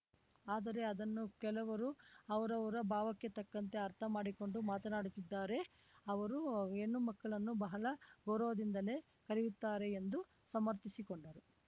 ಆದರೆ ಅದನ್ನು ಕೆಲವರು ಅವರವರ ಭಾವಕ್ಕೆ ತಕ್ಕಂತೆ ಅರ್ಥ ಮಾಡಿಕೊಂಡು ಮಾತನಾಡುತ್ತಿದ್ದಾರೆ ಅವರು ಹೆಣ್ಣುಮಕ್ಕಳನ್ನು ಬಹಳ ಗೌರವದಿಂದಲೇ ಕರೆಯುತ್ತಾರೆ ಎಂದು ಸಮರ್ಥಿಸಿಕೊಂಡರು